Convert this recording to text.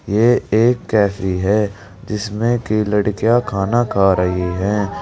ये एक कैफी है जिसमें की लड़कियां खाना खा रही हैं।